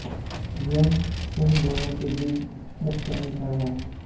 यह उन दोनों के बीच मुख्य अंतर है